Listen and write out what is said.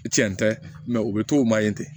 I cɛn tɛ o bɛ to o ma yen ten